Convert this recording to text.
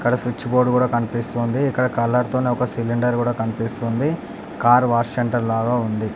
అక్కడ switch board కూడా కనిపిస్తూ ఉంది. ఇక్కడ కలర్ తోని ఒక సిలిండర్ కూడా కనిపిస్తుంది. కార్ వాష్ సెంటర్ ల ఉంది.